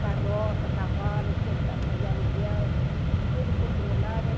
carroça, cavalos para fazer aluguel, tudo controlado.